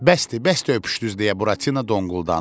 Bəsdir, bəsdir öpüşdünüz! deyə Buratino donquldandı.